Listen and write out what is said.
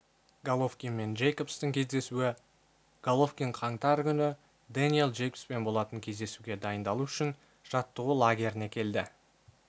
головкин мен джейкобстың кездесуі головкин қаңтар күні дэниел джейкобспен болатын кездесуге дайындалу үшін жаттығу лагеріне келді